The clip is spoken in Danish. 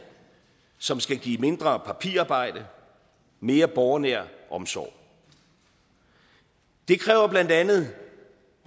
som skal give mindre papirarbejde mere borgernær omsorg det kræver blandt andet